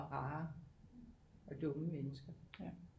Rare og dumme mennesker